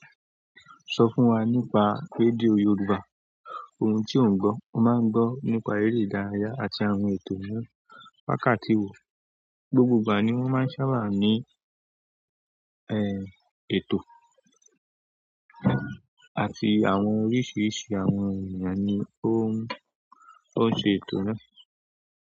Sọ fún wa nípa rédíò Yorùbá, ohun tí ò ń gbọ́, o máa ń gbọ́ nípa eré ìdárayá àti àwọn ètò ní wákàtí, gbogbo ìgbà ni wọ́n maa n sábà ni ètò àti àwọn oríṣiríṣi àwọn ènìyàn ni ó ń ṣe ètò náà.